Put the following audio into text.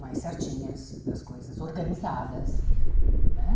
mais certinhas, das coisas organizadas né.